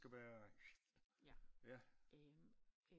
Det skal være ja